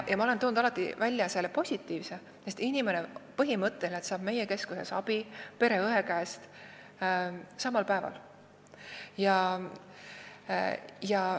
Ma olen toonud alati esile positiivse poole, et põhimõtteliselt saab inimene meie keskuses abi pereõe käest samal päeval.